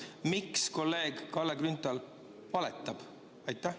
Miks kolleeg Kalle Grünthal valetab?